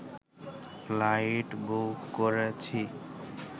flight book করেছি